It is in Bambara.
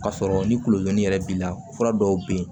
K'a sɔrɔ ni kulodonni yɛrɛ b'i la fura dɔw be yen